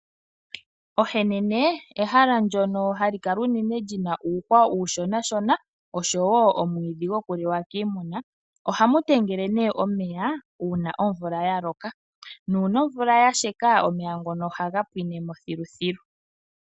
Ohemene ehala ndyono hali kala unene lina uuhwa uushona osho woo omwiidhi goku liwa kiimuna. Ohamu talama nee omeya uuna omvula ya loka nuuna omvula ya sheka omeya ngono ohaga pwinemo thiluthilu.